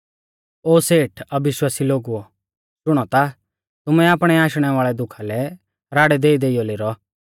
ओ सेठ अविश्वासी लोगुओ शुणौ ता तुमै आपणै आशणै वाल़ै दुखा लै राड़ै देइदेइयौ लेरौ